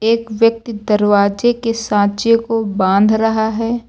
एक व्यक्ति दरवाजे के सांचे को बांध रहा है।